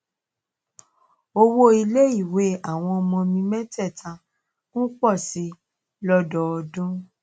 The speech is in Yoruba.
owó iléèwé àwọn ọmọ mi métèèta ń pò sí i lódọọdún